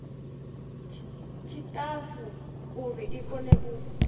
tshiṱafu uri i kone u